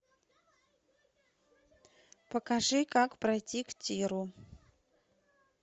покажи как пройти к тиру